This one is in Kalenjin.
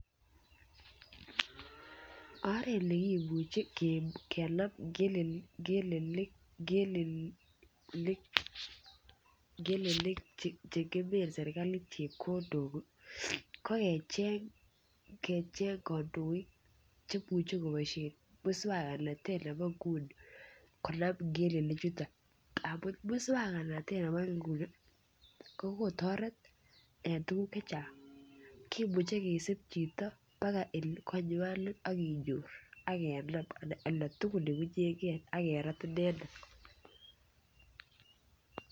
Oret nekimuche kenam ngelelinik Che ngemen serkalit chepkondok ko kecheng kandoik Che muche koboisien moswoknatet nebo nguni konam ngelelinik chuto amun moswoknatet nebo nguni ko kotoret en tuguk Che Chang kimuche kisub chito baka konywan ak kenyor ak kenam en oldo tugul Ole unyen ge ak kerat inendet